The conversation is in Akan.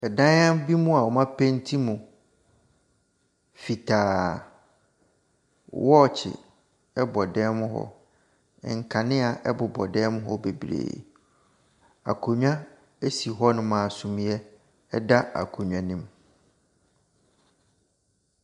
Dan bi mu a wɔapenti mu fitaa. Wɔɔkye bɔ dan mu hɔ. Nkanea bobɔ dan mu hɔ bebree. Akonnwa si dan mu hɔnom a suneɛ da akonnwa ne mu.